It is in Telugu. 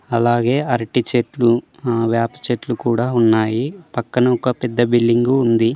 అలాగే అరటి చెట్లు ఆ వేప చెట్లు కూడా ఉన్నాయి. పక్కన ఒక పెద్ద బిల్డింగ్ ఉంది.